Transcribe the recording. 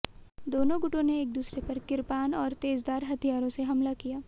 दोनों गुटों ने एक दूसरे पर किरपाण और तेजधार हथियारों से हमला किया